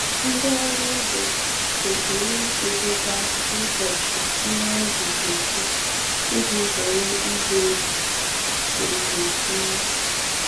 Ndị ọrụ ugbo kwesịrị idebeba ụbọchị ihe ubi ga-eto iji zere igbu oge owuwe ihe.